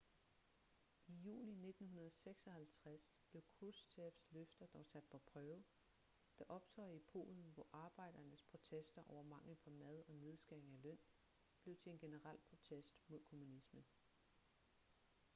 i juni 1956 blev krushchevs løfter dog sat på prøve da optøjer i polen hvor arbejdernes protester over mangel på mad og nedskæringer i løn blev til en generel protest mod kommunismen